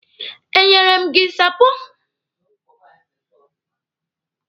E nyere m gị nsapo?